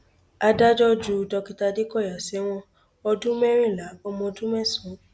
adájọ ju dókítà adékọyà sẹwọn ọdún mẹrìnlá ọmọ ọdún mẹsàn